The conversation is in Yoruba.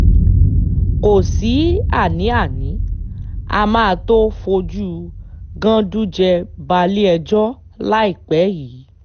kò sí àní-àní á máa tóó fojú ganduje balẹ̀-ẹjọ́ láìpẹ́ yìí